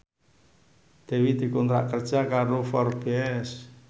Dewi dikontrak kerja karo Forbes